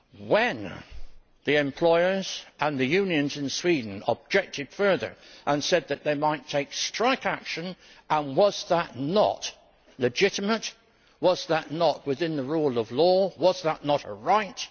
When the employers and the unions in Sweden objected further and said that they might take strike action, and was that not legitimate, was that not within the rule of law, was that not a right?